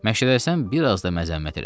Məşədəsən, biraz da məzəmmət elədi.